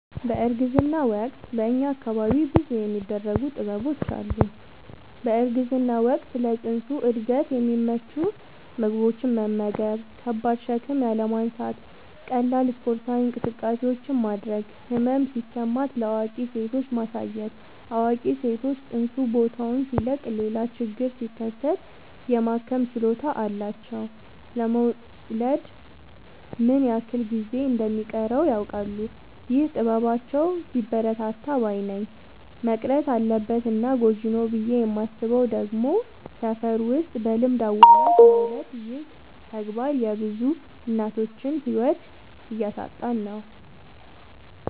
በእርግዝና ወቅት በእኛ አካባቢ ብዙ የሚደረጉ ጥበቦች አሉ። በእርግዝና ወቅት ለፅንሱ እድገት የሚመቹ ምግቦችን መመገብ። ከባድ ሸክም ያለማንሳት ቀላል ስፓርታዊ እንቅስቃሴዎችን ማድረግ። ህመም ሲሰማት ለአዋቂ ሴቶች ማሳየት አዋቂ ሰዎች ፅንሱ ቦታውን ሲለቅ ሌላ ችግር ሲከሰት የማከም ችሎታ አላቸው ለመወለድ ምን ያክል ጊዜ እንደ ሚቀረውም ያውቃሉ። ይህ ጥበባቸው ቢበረታታ ባይነኝ። መቅረት አለበት እና ጎጂ ነው ብዬ የማስበው ደግሞ ሰፈር ውስጥ በልምድ አዋላጅ መውለድ ይህ ተግባር የብዙ እናቶችን ህይወት እያሳጣን ነው።